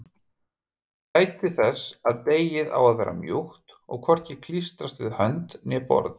Gætið þess að deigið á að vera mjúkt og hvorki klístrast við hönd né borð.